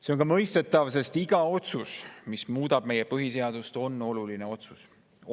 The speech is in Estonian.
See on ka mõistetav, sest iga otsus, mis muudab meie põhiseadust, on oluline otsus.